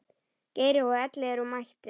Geiri og Elli eru mættir.